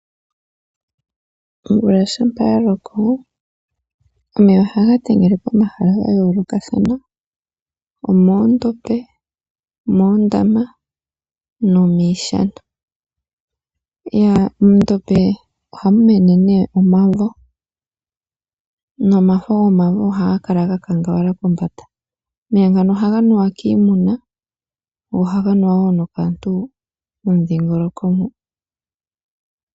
Omvula shampa ya loko omeya ohaga tengele pomahala ga yoolokathana omoondombe, omoondama nomiishana. Mondombe ohamu mene nee omavo nomafo gomavo ohaga kala ga kangawala kombanda. Omeya ngano ohaga nuwa kiimuna go ohaga nuwa wo nokaantu momudhingoloko mo.